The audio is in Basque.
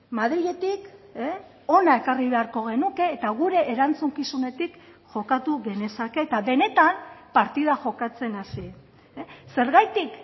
madriletik hona ekarri beharko genuke eta gure erantzukizunetik jokatu genezake eta benetan partida jokatzen hasi zergatik